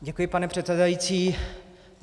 Děkuji, pane předsedající.